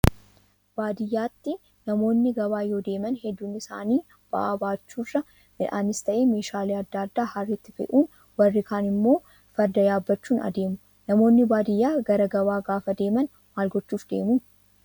Baadiyyaatti namoonni gabaa yoo deeman hedduun isaanii ba'aa baachuu irra midhaanis ta'ee meeshaalee adda addaa harreetti fe'uun warri kaan immoo farda yaabbachuun adeemu. Namoonni baadiyyaa gara gabaa gaafa deeman maal gochuuf deemu?